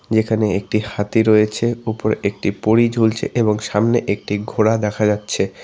এখানে একটি হাতি রয়েছে উপরে একটি পরী ঝুলছে এবং সামনে একটি ঘোড়া দেখা যাচ্ছে।